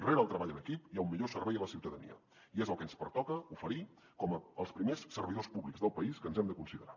rere el treball en equip hi ha un millor servei a la ciutadania i és el que ens pertoca oferir com els primers servidors públics del país que ens hem de considerar